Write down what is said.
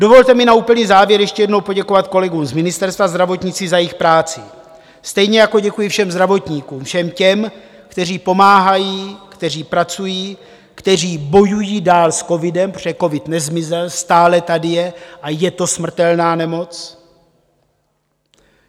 Dovolte mi na úplný závěr ještě jednou poděkovat kolegům z Ministerstva zdravotnictví za jejich práci, stejně jako děkuji všem zdravotníkům, všem těm, kteří pomáhají, kteří pracují, kteří bojují dál s covidem, protože covid nezmizel, stále tady je a je to smrtelná nemoc.